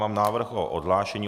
Mám návrh na odhlášení.